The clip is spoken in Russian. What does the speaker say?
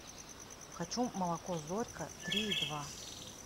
хочу молоко зорька три и два